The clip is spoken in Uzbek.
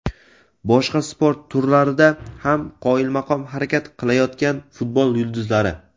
Boshqa sport turlarida ham qoyilmaqom harakat qilayotgan futbol yulduzlari.